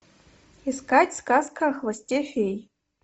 искать сказка о хвосте феи